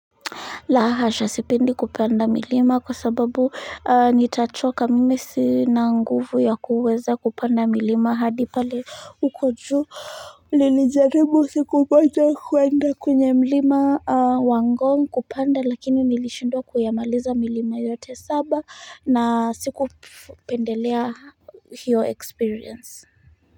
La hasha sipendi kupanda milima kwa sababu nitachoka mimi sina nguvu ya kuweza kupanda milima hadi pale uko juu Nilijaribu sikupata kuenda kwenye milima wa ngong kupanda lakini nilishindwa kuyamaliza milima yote saba na sikupendelea hiyo experience.